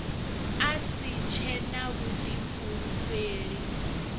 a si tshe na vhuḓifulufheli